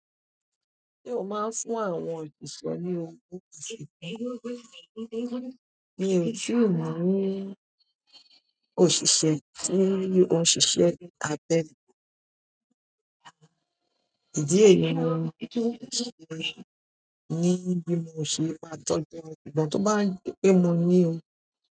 Se o maa n fún àwọn òṣìṣẹ́ ni owo. Mi ò tíì ni òṣìṣẹ́ tí ó ń ṣiṣẹ́ abẹ́ mi. Ìdí èmi ni nìbí tí mo ṣe máa tọ́jú ọ̀pọ̀lọpọ̀ tó bá ń gbé mọ ní o.